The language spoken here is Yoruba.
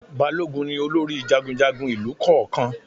Balógun ni olórí jagunjagun ìlù kọ̀ọ̀kan